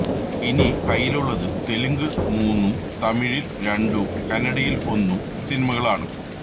ഇനി കയ്യിലുള്ളത് തെലുങ്ക് മൂന്നും തമിഴില് രണ്ടും കന്നഡയില് ഒന്നും സിനിമകളാണ്